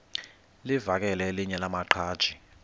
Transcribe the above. livakele elinye lamaqhaji